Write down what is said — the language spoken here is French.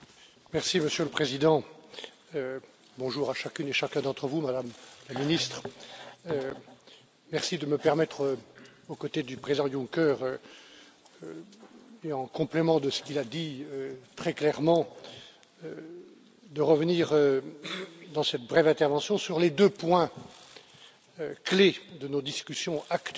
Monsieur le Président, bonjour à chacune et chacun d'entre vous, Madame la Ministre, merci de me permettre aux côtés du président Juncker et en complément de ce qu'il a dit très clairement de revenir dans cette brève intervention sur les 2 points clés de nos discussions actuelles